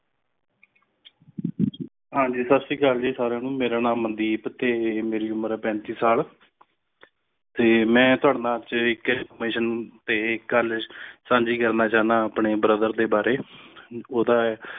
ਹਾਂਜੀ ਸਾਸਰੀਕਾਲ ਸਾਰੀਆਂ ਨੂੰ ਮੇਰਾ ਨਾਮ ਮਨਦੀਪ ਹੈ ਤੇ ਮੇਰੀ ਉਮਰ ਹੈ ਪੈਂਤੀਸ ਸਾਲ ਤੇ ਮੇਂ ਤੁਵੱਡੇ ਨਾਲ ਇਕ information ਤੇ ਇਕ ਗੱਲ ਸਾਂਝੀ ਕਰਨਾ ਚਾਹੰਦਾ ਆਂ ਆਪਣੇ brother ਦੇ ਬਾਰੇ ਉਡਦਾ